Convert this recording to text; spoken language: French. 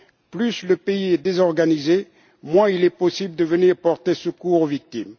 Plus le pays est désorganisé, moins il est possible de venir porter secours aux victimes.